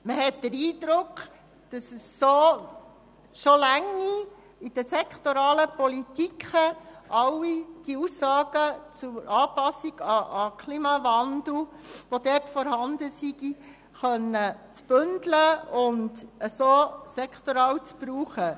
Man hat den Eindruck, dass es ausreicht, in den sektoralen Politiken die vorhandenen Aussagen zum Klimawandel zu bündeln und auf diese Weise sektoral zu benutzen.